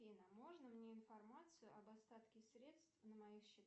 афина можно мне информацию об остатке средств на моих счетах